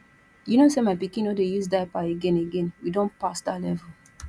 you know sey my pikin no dey use diaper again again we don pass dat level